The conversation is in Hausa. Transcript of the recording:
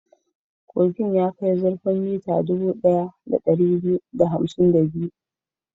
Kogin ya kai zurfin mita dubu ɗaya da ɗari biyu da hamsin da biyu.